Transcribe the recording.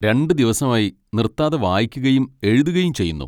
രണ്ടു ദിവസമായി നിർത്താതെ വായിക്കുകയും എഴുതുകയും ചെയ്യുന്നു.